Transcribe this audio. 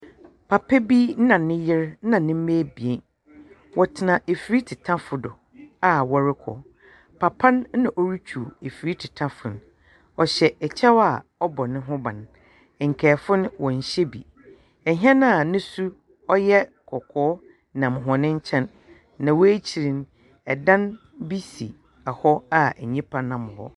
Papa bi na ne yer na ne mma ebien. Wɔtena afiritetafo do a wɔrekɔ. Papa no na oritwiw efir tetafo no. ɔhyɛ kyɛw a ɔbɔ ne ho ban. Nkaefo no, wɔnhyɛ bi. Hɛn a ne su ɔyɛ kɔkɔɔ nam hɔn nkyɛn, na wɔn ekyir no dan bi si hɔ a nnipa nam hɔ.